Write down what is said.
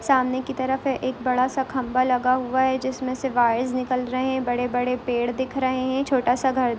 सामने की तरफ है एक बड़ा-सा खंभा लगा हुवा है जिसमें से वायस निकल रहे है बड़े-बड़े पेड़ दिख रहे हैं छोटा-सा सा घर --